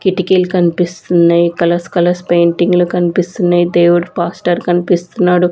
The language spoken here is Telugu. కిటికీలు కన్పిస్తున్నయ్ కలర్స్ కలర్స్ పెయింటింగులు కన్పిస్తున్నయ్ దేవుడు పాస్టర్ కన్పిస్తున్నాడు.